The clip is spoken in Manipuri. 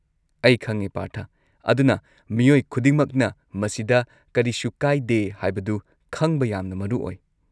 ꯑꯩ ꯈꯪꯉꯦ ꯄꯥꯔꯊ, ꯑꯗꯨꯅ ꯃꯤꯑꯣꯏ ꯈꯨꯗꯤꯡꯃꯛꯅ ꯃꯁꯤꯗ ꯀꯔꯤꯁꯨ ꯀꯥꯏꯗꯦ ꯍꯥꯏꯕꯗꯨ ꯈꯪꯕ ꯌꯥꯝꯅ ꯃꯔꯨ ꯑꯣꯏ꯫